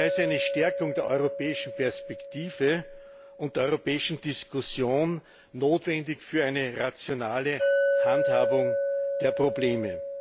Daher ist eine Stärkung der europäischen Perspektive und der europäischen Diskussion notwendig für eine rationale Handhabung der Probleme.